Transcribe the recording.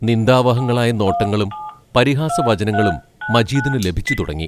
നിന്ദാവഹങ്ങളായ നോട്ടങ്ങളും പരിഹാസവചനങ്ങളും മജീദിന് ലഭിച്ചുതുടങ്ങി.